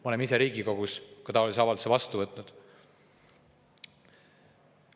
Me oleme ise Riigikogus taolise avalduse vastu võtnud.